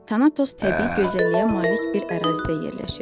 Tanatos təbii gözəlliyə malik bir ərazidə yerləşir.